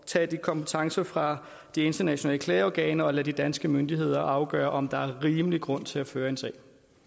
tage de kompetencer fra de internationale klageorganer og lade de danske myndigheder afgøre om der er rimelig grund til at føre en sag